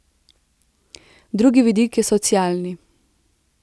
Drugi vidik je socialni.